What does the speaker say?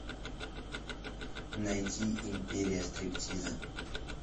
найти империя стриптиза